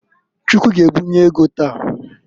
Chukwu g'ebunye ego taa.